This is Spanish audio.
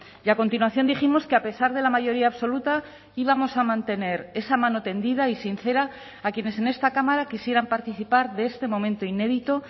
y a continuación dijimos que a pesar de la mayoría absoluta íbamos a mantener esa mano tendida y sincera a quienes en esta cámara quisieran participar de este momento inédito